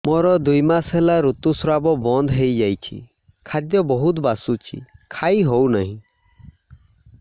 ମୋର ଦୁଇ ମାସ ହେଲା ଋତୁ ସ୍ରାବ ବନ୍ଦ ହେଇଯାଇଛି ଖାଦ୍ୟ ବହୁତ ବାସୁଛି ଖାଇ ହଉ ନାହିଁ